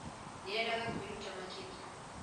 Nĩ eendaga kwĩruta makĩria?